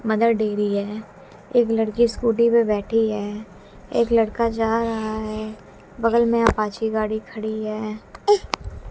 Mother Dairy है एक लड़की स्कूटी पे बैठी है एक लड़का जा रहा है बगल में अपाची गाड़ी खड़ी है।